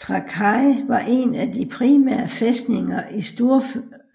Trakai var en af de primære fæstninger i